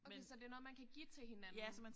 Okay så det noget man kan give til hinanden